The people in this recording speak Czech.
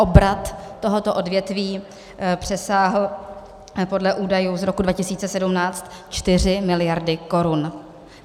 Obrat tohoto odvětví přesáhl podle údajů z roku 2017 čtyři miliardy korun.